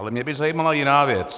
Ale mě by zajímala jiná věc.